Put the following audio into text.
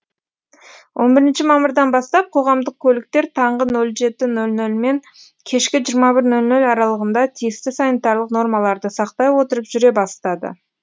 он бірінші мамырдан бастап қоғамдық көліктер таңғы нөл жеті нөл нөл мен кешкі жиырма бір нөл нөл аралығында тиісті санитарлық нормаларды сақтай отырып жүре бастады